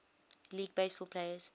league baseball players